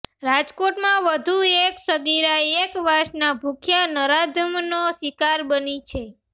રાજકોટમાં વધુ એક સગીરા એક વાસના ભૂખ્યા નરાધમનો શિકાર બની છે